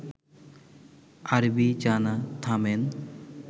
আরবি জানা, থামেন